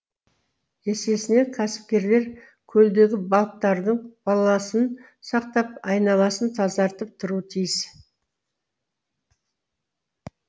есесіне кәсіпкерлер көлдегі балықтардың балансын сақтап айналасын тазартып тұруы тиіс